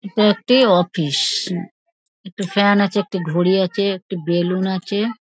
এটা একটি অফিস একটি ফ্যান আছে একটি ঘড়ি আছে একটি বেলুন আছে |